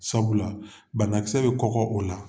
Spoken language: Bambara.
Sabula banakisɛ bɛ kɔgɔ o la